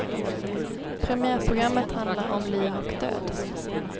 Premiärprogrammet handlar om liv och död.